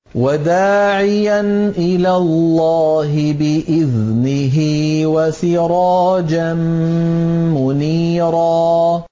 وَدَاعِيًا إِلَى اللَّهِ بِإِذْنِهِ وَسِرَاجًا مُّنِيرًا